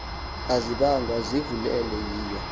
azibiwanga zivulelwe yiyo